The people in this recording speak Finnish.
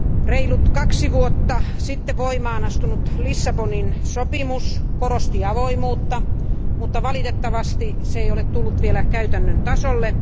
Reilut kaksi vuotta sitten voimaan astunut Lissabonin sopimus korosti avoimuutta, mutta valitettavasti se ei ole tullut vielä käytännön tasolle.